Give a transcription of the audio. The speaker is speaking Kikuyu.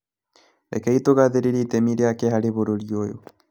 Rekei tũgathĩrĩria itemi rĩake harĩ bũrũri ũyũ